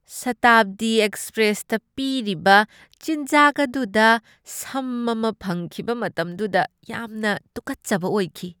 ꯁꯥꯇꯥꯕꯗꯤ ꯑꯦꯛꯁꯄ꯭ꯔꯦꯁꯇ ꯄꯤꯔꯤꯕ ꯆꯤꯟꯖꯥꯛ ꯑꯗꯨꯗ ꯁꯝ ꯑꯃ ꯐꯪꯈꯤꯕ ꯃꯇꯝꯗꯨꯗ ꯌꯥꯝꯅ ꯇꯨꯀꯠꯆꯕ ꯑꯣꯏꯈꯤ꯫